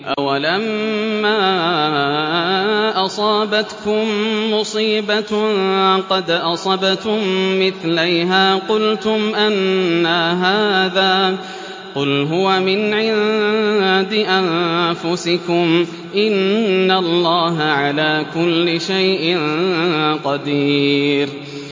أَوَلَمَّا أَصَابَتْكُم مُّصِيبَةٌ قَدْ أَصَبْتُم مِّثْلَيْهَا قُلْتُمْ أَنَّىٰ هَٰذَا ۖ قُلْ هُوَ مِنْ عِندِ أَنفُسِكُمْ ۗ إِنَّ اللَّهَ عَلَىٰ كُلِّ شَيْءٍ قَدِيرٌ